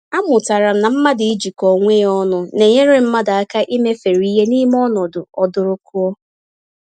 Amụtara m na mmadụ ijikọ onwe ya ọnụ nenyere mmadụ aka imefere ìhè n'ime ọnọdụ ọdụrụkụọ.